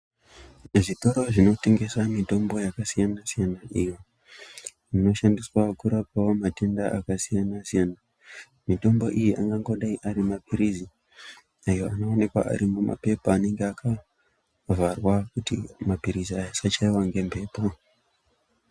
Zvitoro zvinotengesa mitombo yakasiyana-siyana ,iyo inoshandiswa kurapawo matenda akasiyana-siyana. Mitombo iyi angangodai ari maphirizi, ayo anooneka ari mumaphepha anenga akavharwa, kuti maphirizi aya asachaiwa ngemphepo.